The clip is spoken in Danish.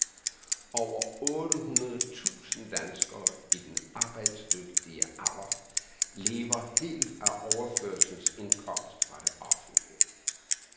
Over otte hundrede tusind danskere i den arbejdsdygtige alderlever helt af overførselsindkomst fra det offentlige.